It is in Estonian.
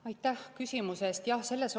Aitäh küsimuse eest!